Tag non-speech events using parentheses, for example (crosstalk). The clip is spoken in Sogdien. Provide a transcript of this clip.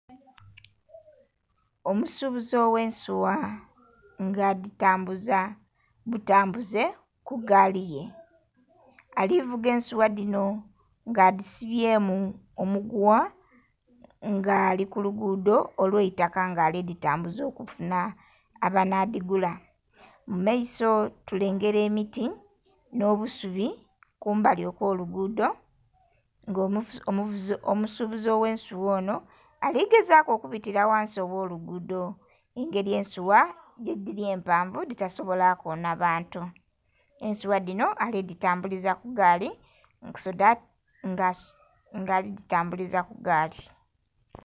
Omusubuzi ow'ensuwa nga adhitambuza butambuze ku gaali ye. Alivuga ensuwa dhino nga adhisibyemu omuguwa. Nga ali ku lugudho olw'eitaka nga ali dhitambuza okufuna abanadhigula. Mu maiso tulengera emiti, nh'obusubi kumbali okw'olugudho nga omusubuzi ow'ensuwa onho ali gezaaku okubitira ghansi aw'olugudho, engeri ensuwa bwedhiri empanvu dhitasobola koona bantu. Ensuwa dhino ali dhitambuliza ku gaali (skip) nga ali dhitambuliza ku gaali.